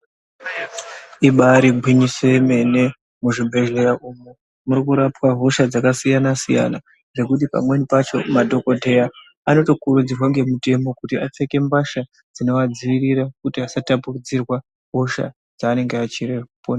Ibari gwinyiso yemene muzvibhedhleya umwu murikurapwa hosha dzakasiyana siyana zvekuti pamweni pacho madhokodheya anotokurudzirwe ngemutemo kuti apfeke mbatya dzinovadziirira kuti vasatapudzirwa hosha dzaanenge achiporesa.